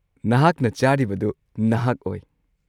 ꯅꯍꯥꯛꯅ ꯆꯥꯔꯤꯕꯗꯨ ꯅꯍꯥꯛ ꯑꯣꯏ꯫